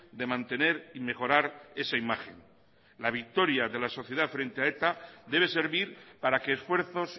de mantener y mejorar esa imagen la victoria de la sociedad frente a eta debe servir para que esfuerzos